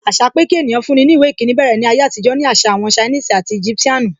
Àṣà pé kí ènìyàn fún ní ìwé ìkíni bẹ̀rẹ̀ ní ayé àtijọ́ ni àṣà àwọn Chinese and Egyptian nu.